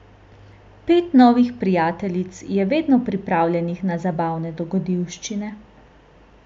Pet novih prijateljic je vedno pripravljenih na zabavne dogodivščine.